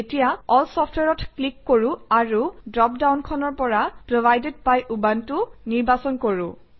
এতিয়া এল Software অত ক্লিক কৰোঁ আৰু ড্ৰপ ডাউনখনৰ পৰা প্ৰভাইডেড বাই উবুনটো নিৰ্বাচন কৰোঁ